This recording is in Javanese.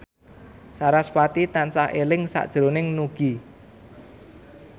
sarasvati tansah eling sakjroning Nugie